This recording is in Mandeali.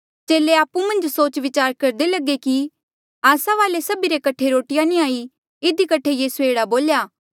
चेले आपु मन्झ सोच विचार करदे लगे कि आस्सा वाले सभी रे कठे रोटिया नी हाई इधी कठे यीसूए एह्ड़ा बोल्या